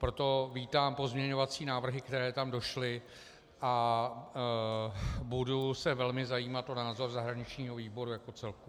Proto vítám pozměňovací návrhy, které tam došly, a budu se velmi zajímat o názor zahraničního výboru jako celku.